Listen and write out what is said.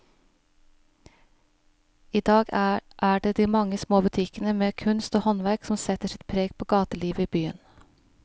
I dag er det de mange små butikkene med kunst og håndverk som setter sitt preg på gatelivet i byen.